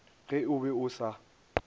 ge o be o sa